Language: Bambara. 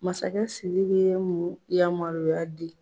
Masakɛ Sidi ye mun yamaruya di ?